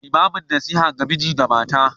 Limamin nasiha ga miji da mata.